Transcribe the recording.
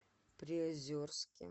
приозерске